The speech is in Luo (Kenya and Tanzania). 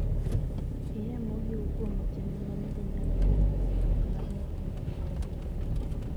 Iyee mohiu kuom ojende ma nyiri nyalo kelo medruok mar nyithindo ma onge wuonegi.